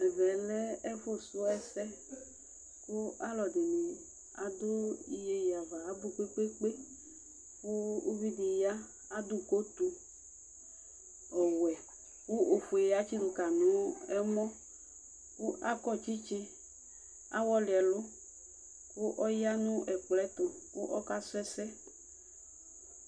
Ɛvɛlɛ ɛfu suɛs kʋ,aalʋɛɖini ɖʋ iyeye ava abʋ kpekpekpeKʋ uviɖi yaa, aɖʋ kotʋ ɔwuɛ kʋ ofue atsiɖʋ Kayi nʋ ɛmɔAkɔ tsitsi ,ahɔli ɛlʋ, k'ɔyaa nʋ ɛkɔɛtʋ, koka su ɛsɛ